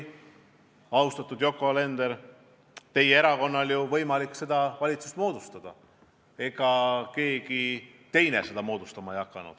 Austatud Yoko Alender, teie erakonnal oli ju võimalik valitsus moodustada, ega keegi teine seda moodustama ei hakanud.